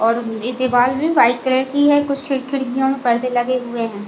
और इ दीवाल में वाइट कलर की है कुछ खिड़-खिड़कियों में पर्दे लगे हुए हैं।